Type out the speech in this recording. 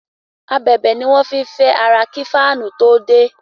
Ábèbè ni a fín fé àrà kí Fáànù to dé